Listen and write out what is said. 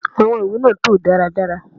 Awọn iwe ni a to daradara